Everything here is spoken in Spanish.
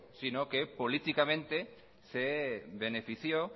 sino que políticamente se benefició